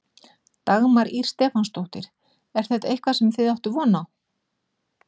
Dagmar Ýr Stefánsdóttir: Er þetta eitthvað sem þið áttuð von á?